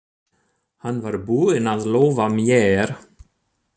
Hann var búinn að lofa mér.